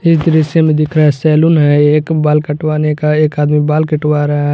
इस दृश्य में दिख रहा है सैलून है एक बाल कटवाने का एक आदमी बाल कटवा रहा है।